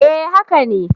Eh haka ne.